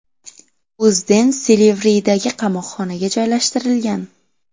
O‘zden Silivridagi qamoqxonaga joylashtirilgan.